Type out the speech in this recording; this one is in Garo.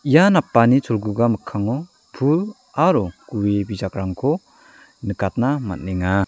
ia napani cholguga mikango pul aro gue bijakrangko nikatna man·enga.